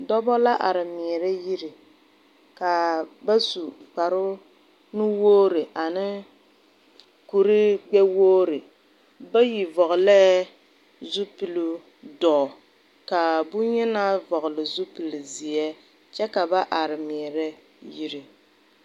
Dɔba la arẽ meɛre yiri kaa ba su kpare nu wɔgre ane kuree gbe wɔgre bayi vɔglee zupiluu duo ka bunyenaa vɔgle zupili zeɛ kye ka ba arẽ meɛre yiri.